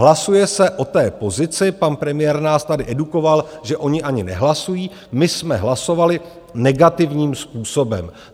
Hlasuje se o té pozici, pan premiér nás tady edukoval, že oni ani nehlasují, my jsme hlasovali negativním způsobem.